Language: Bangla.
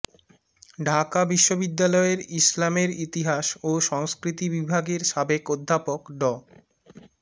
ঢাকা বিশ্ববিদ্যালয়ের ইসলামের ইতিহাস ও সংস্কৃতি বিভাগের সাবেক অধ্যাপক ড